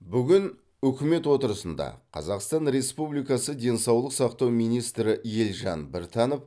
бүгін үкімет отырысында қазақстан республикасы денсаулық сақтау министрі елжан біртанов